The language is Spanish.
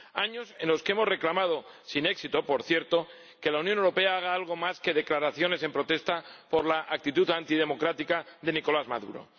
Años en los que hemos reclamado —sin éxito, por cierto— que la Unión Europea haga algo más que declaraciones en protesta por la actitud antidemocrática de Nicolás Maduro.